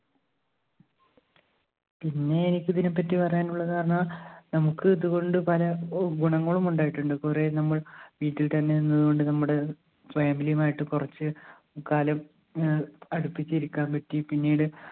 പിന്നെ എനിക്കിതിനെപ്പറ്റി പറയാനുള്ളത് പറഞ്ഞ നമ്മുക്ക് ഇത് കൊണ്ട് പല ഗുണങ്ങളും ഉണ്ടായിട്ടുണ്ട്. കൊറേ നമ്മൾ വീട്ടിൽത്തന്നെ നിന്നത് കൊണ്ട് നമ്മുടെ family ഉമായിട്ട് കൊറച്ച് കാലം ഏർ അടുപ്പിച്ചിരിക്കാൻ പറ്റി പിന്നീട്